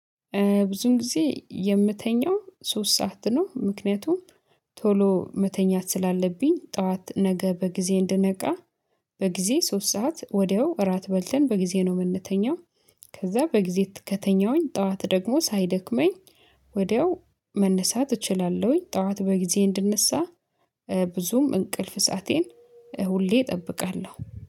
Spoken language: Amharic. ብዙን ጊዜ የምተኛው ሶስት ሰዓት ነው። ምክንያቱም ቶሎ መተኛት ስላለብኝ ጠዋት ነገ በጊዜ እንደነቃ። በጊዜ ሶስት ሰዓት ወዲያው እራት በልተን በጊዜ ነው የምንተኛው። ከዛ በጊዜ ከተኛሁኝ ጠዋት ደግሞ ሳይደክመኝ። ወዲያው መነሳት እችላለሁኝ። ጠዋት በጊዜ እንድንሳ ብዙም እንቅልፍ ሰአቴን ሁሌ እጠብቃለሁ